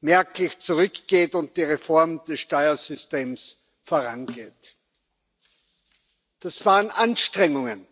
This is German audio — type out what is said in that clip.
merklich zurückgeht und die Reform des Steuersystems vorangeht, das waren Anstrengungen